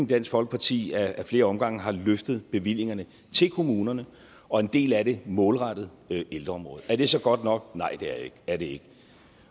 dansk folkeparti ad flere omgange har løftet bevillingerne til kommunerne og en del af det målrettet ældreområdet er det så godt nok nej det er det ikke